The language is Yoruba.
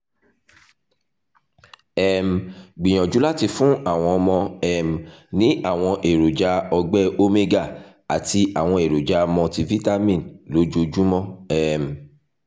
um gbìyànjú láti fún àwọn ọmọ um ní àwọn èròjà ọ̀gbẹ́ omega àti àwọn èròjà multivitamin lójoojúmọ́ um